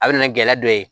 A bɛ na gɛlɛya dɔ ye